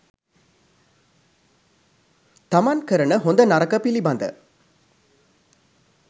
තමන් කරන හොඳ නරක පිළිබඳ